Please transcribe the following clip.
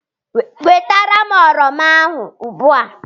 Wetara m oroma ahụ ugbu a!